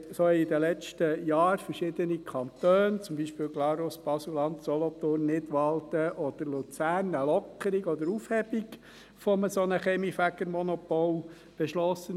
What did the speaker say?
So haben in den letzten Jahren verschiedene Kantone, zum Beispiel Glarus, Basel-Land, Solothurn, Nidwalden oder Luzern eine Lockerung oder Aufhebung eines solchen Kaminfegermonopols beschlossen.